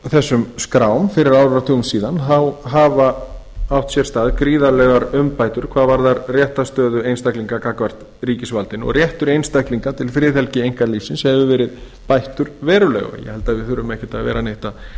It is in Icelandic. þessum skrám fyrir áratugum síðan hafa átt sér stað gríðarlegar umbætur hvað varðar réttarstöðu einstaklinga gagnvart ríkisvaldinu og réttur einstaklinga til friðhelgi einkalífsins hefur verið bættur verulega og ég held að við þurfum ekkert að vera neitt